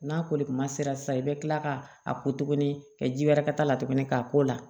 N'a koli kuma sera sisan i bɛ kila ka a ko tuguni ka ji wɛrɛ ka la tuguni k'a ko la